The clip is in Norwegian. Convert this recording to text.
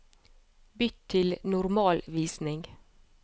Bytt til normalvisning